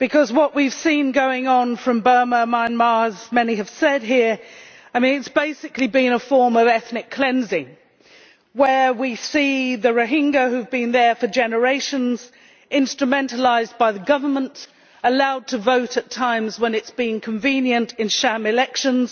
What we have seen going on in Burma Myanmar, as many have said here, has basically been a form of ethnic cleansing, where we see the Rohingya who have been there for generations instrumentalised by the government and allowed to vote at times when it has been convenient in sham elections